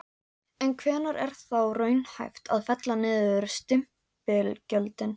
En hvenær er þá raunhæft að fella niður stimpilgjöldin?